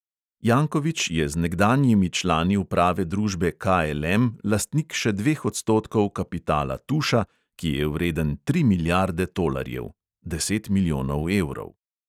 Jankovič je z nekdanjimi člani uprave družbe KLM lastnik še dveh odstotkov kapitala tuša, ki je vreden tri milijarde tolarjev (deset milijonov evrov).